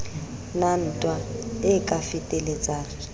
na ntwa e ka fetelletsang